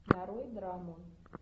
нарой драму